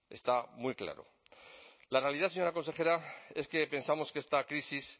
está muy claro la realidad señora consejera es que pensamos que esta crisis